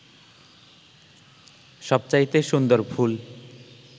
সবচাইতে সুন্দর ফুল